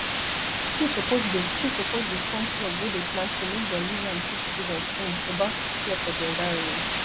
school suppose dey school suppose dey form club wey dey plant tree make dem use am teach students um about care for di environment